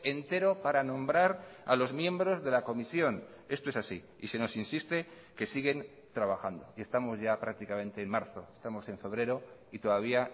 entero para nombrar a los miembros de la comisión esto es así y se nos insiste que siguen trabajando y estamos ya prácticamente en marzo estamos en febrero y todavía